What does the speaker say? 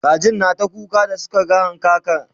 kajin na ta kuka da Suka ga hankaka